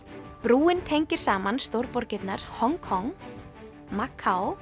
brúin tengir saman Hong Kong